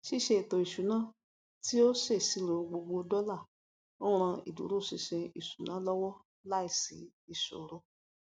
ṣíṣè ètò isuna tí ó sèṣirò gbogbo dọlà ń ran ìdúrósinsin ìṣúná lọwọ láìsí ìṣòro